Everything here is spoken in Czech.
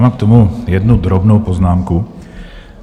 Mám k tomu jednu drobnou poznámku.